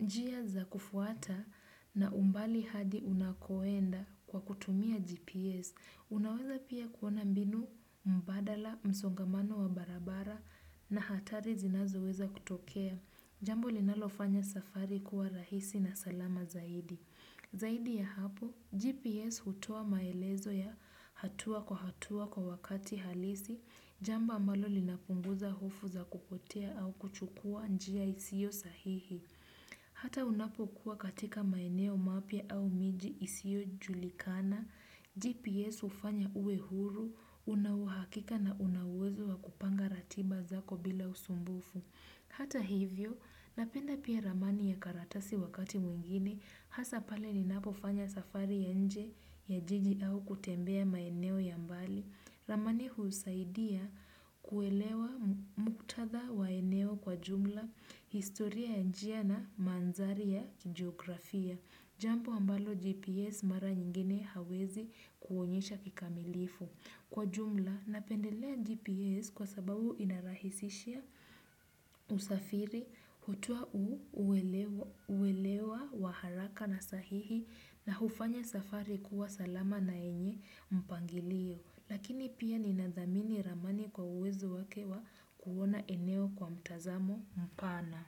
njia za kufuata na umbali hadi unakoenda kwa kutumia GPS. Unaweza pia kuona mbinu mbadala msongamano wa barabara na hatari zinazoweza kutokea. Jambo linalofanya safari kuwa rahisi na salama zaidi. Zaidi ya hapo, GPS hutoa maelezo ya hatua kwa hatua kwa wakati halisi. Jambo ambalo linapunguza hofu za kupotea au kuchukua njia isio sahihi. Hata unapokuwa katika maeneo mapya au miji isiyojulikana. GPS hufanya uwe huru, una uhakika na una uwezo wa kupanga ratiba zako bila usumbufu. Hata hivyo, napenda pia ramani ya karatasi wakati mwingine. Hasa pale ninapofanya safari ya nje ya jiji au kutembea maeneo ya mbali. Ramani husaidia kuelewa muktadha wa eneo kwa jumla, historia ya njia na manthari ya jiografia. Jampo ambalo GPS mara nyingine haiwezi kuonyesha kikamilifu. Kwa jumla, napendelea GPS kwa sababu inarahisishia usafiri, hutoa uelewa wa haraka na sahihi na hufanya safari kuwa salama na yenye mpangilio. Lakini pia ninathamini ramani kwa uwezo wake wa kuona eneo kwa mtazamo mpana.